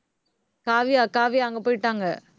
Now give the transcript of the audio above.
காவியா, காவியா அங்க போயிட்டாங்க.